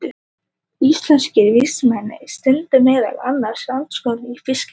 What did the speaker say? Íslenskir vísindamenn stunda meðal annars rannsóknir á fiskeldi.